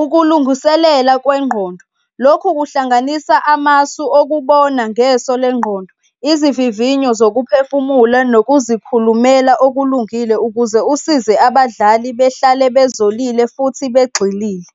ukulungiselela kwengqondo, lokhu kuhlanganisa amasu okubona ngeso leyongqondo, izivivinyo zokuphefumula nokuzikhulumela okulungile ukuze usize abadlali behlale bezolile futhi begxilile.